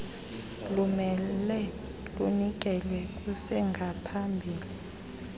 lumele lunikelwe kusengaphambili